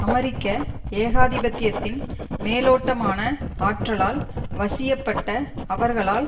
அமெரிக்க ஏகாதிபத்தியத்தின் மேலோட்டமான ஆற்றலால் வசியப்பட்ட அவர்களால்